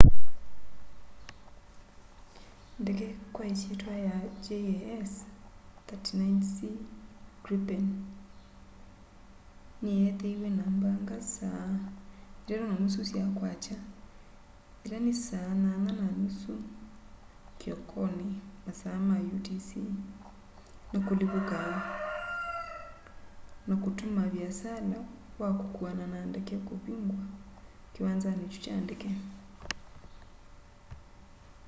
ndege kwa ĩsyĩtwa ya jas 39c gripen nĩyeethĩiwe na mbaga saa 9.30 sya kwakya 0230 utc na kũlivũka na kũtũma vĩasala wa kũkuana na ndege kũvũngwa kĩwanzanĩ kyũ kya ndege